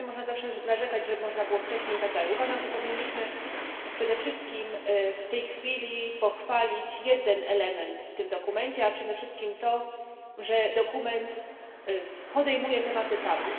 Oczywiście można zawsze narzekać, że można było wcześniej i tak dalej. Uważam, że powinniśmy przede wszystkim w tej chwili pochwalić jeden element w tym dokumencie, a przede wszystkim to, że dokument podejmuje tematy tabu.